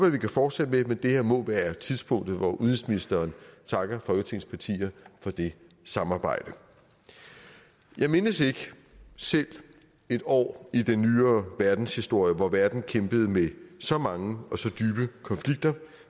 at vi kan fortsætte med men det her må være tidspunktet hvor udenrigsministeren takker folketingets partier for det samarbejde jeg mindes ikke selv et år i den nyere verdenshistorie hvor verden har kæmpet med så mange og så dybe konflikter